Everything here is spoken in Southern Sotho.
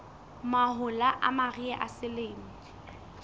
mahola a mariha a selemo